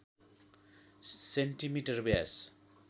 centimetre Vyas